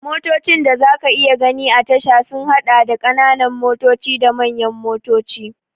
Motocin da za ka iya gani a tasha sun haɗa da, ƙananan motoci da manyan motoci.